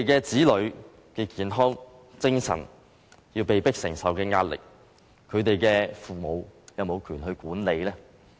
子女的健康，精神上被迫要承受壓力，父母有權管嗎？